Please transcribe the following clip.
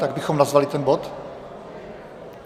Tak bychom nazvali ten bod?